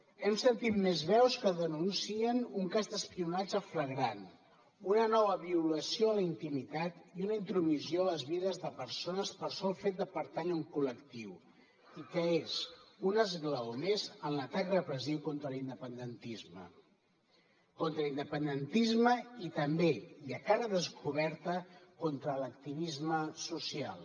hem sentit més veus que denuncien un cas d’espionatge flagrant una nova violació a la intimitat i una intromissió a les vides de persones pel sol fet de pertànyer a un col·lectiu i que és un esglaó més en l’atac repressiu contra l’independentisme contra l’independentisme i també i a cara descoberta contra l’activisme social